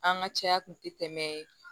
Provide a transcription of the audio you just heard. An ka caya kun tɛ tɛmɛ